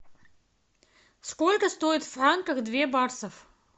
сколько стоит в франках две баксов